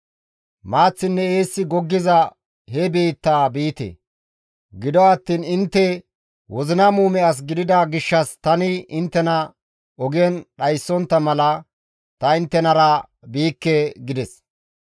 Maaththinne eessi goggiza he biittaa biite. Gido attiin intte wozina muume as gidida gishshas tani inttena ogen dhayssontta mala ta inttenara biikke» gides.